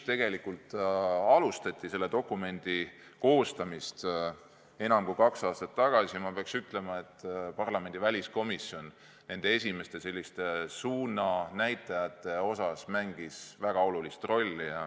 Kui selle dokumendi koostamist enam kui kaks aastat tagasi alustati, siis parlamendi väliskomisjon mängis esimese suunanäitajana väga olulist rolli.